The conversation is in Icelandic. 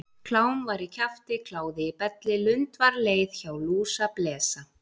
Klám var í kjafti, kláði í belli, lund var leið, hjá lúsablesa.